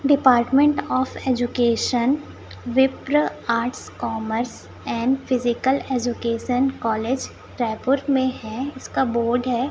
Department of education Vipra arts commerce and physical education college Raipur में है इसका बोर्ड है।